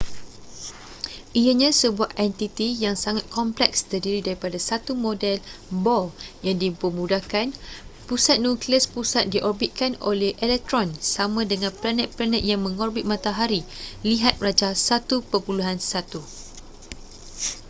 ianya sebuah entiti yang sangat kompleks terdiri daripada satu model bohr yang dipermudahkan pusat nukleus pusat diorbitkan oleh elektron sama dengan planet-planet yang mengorbit matahari lihat rajah 1.1